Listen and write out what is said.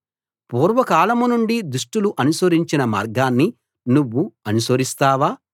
పూర్వకాలం నుండి దుష్టులు అనుసరించిన మార్గాన్ని నువ్వు అనుసరిస్తావా